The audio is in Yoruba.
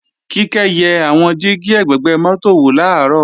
Kíkẹ́ yẹ àwọn dígí ẹ̀gbẹ̀gbẹ́ mọ́tò wò làárọ̀